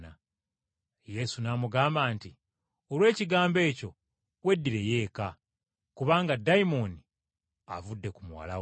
Yesu n’amugamba nti, “Olw’ekigambo ekyo, weddireyo eka, kubanga dayimooni avudde ku muwala wo.”